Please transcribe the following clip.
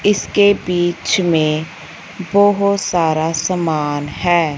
इसके बीच में बहुत सारा सामान है।